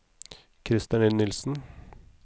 Krister Nilsen